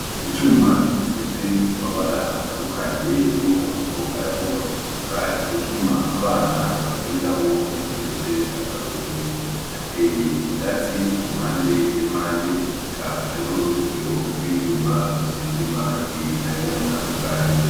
Icuma gisize amabara atandukanye y'umuhondo, ayagomba gutukura. Ni icuma abana bakiniramwo iyo hageze akaruhuko. Hateye ivyatsi ku mpande n'impande, eka hariho n'uruzitiro rw'ivyuma rusize amarangi nayo nyene atandukanye.